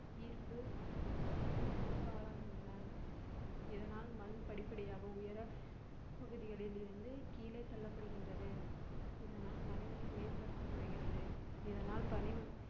ஈர்ப்பு மண்ணரிப்புக்கு ஆளாகின்றன. இதனால் மண் படிப்படியாக உயர பகுதிகளிலிருந்து கீழே தள்ளப்படுகின்றது. இதனால் மலைகளின் மேற்பரப்பு குறைகிறது இதனால் பணி